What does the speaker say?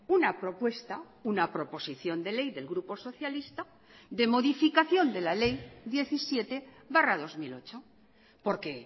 una propuesta una proposición de ley del grupo socialista de modificación de la ley diecisiete barra dos mil ocho porque